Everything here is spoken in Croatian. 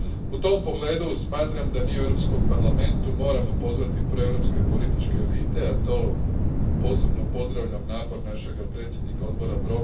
U tom pogledu smatram da mi u Europskom parlamentu moramo pozvati proeuropske političke elite, danas posebno pozdravljam napor našega predsjednika odbora g.